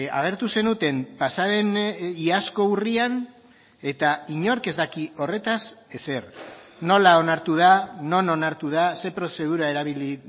agertu zenuten pasaden iazko urrian eta inork ez dakit horretaz ezer nola onartu da non onartu da ze prozedura erabili